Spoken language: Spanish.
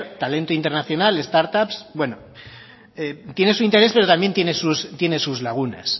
talento internacional start up tiene su interés pero también tiene sus lagunas